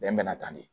Bɛn bɛ na tan de